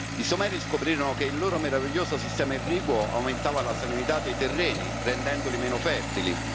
I Sumeri scoprirono che il loro meraviglioso sistema irriguo aumentava la salinità dei terreni, rendendoli meno fertili.